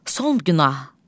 Son günah.